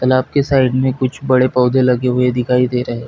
तालाब के साइड में कुछ बड़े पौधे लगे हुए दिखाई दे रहे--